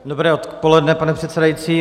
Dobré odpoledne, pane předsedající.